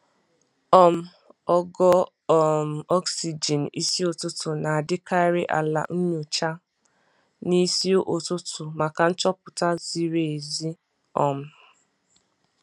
um Ogo um oxygen isi ụtụtụ na-adịkarị ala- nyochaa n'isi ụtụtụ maka nchọpụta ziri ezi. um